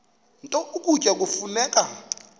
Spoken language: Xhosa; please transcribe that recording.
nto ukutya kufuneka